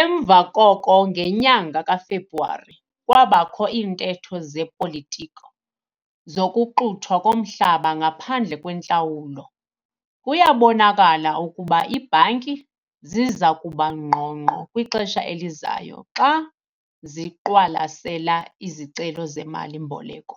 Emva koko ngenyanga kaFebruwari kwabakho iintetho zepolitiko zokuxuthwa komhlaba ngaphandle kwentlawulo. Kuyabonakala ukuba iibhanki ziza kuba ngqongqo kwixesha elizayo xa ziqwalasela izicelo zemali-mboleko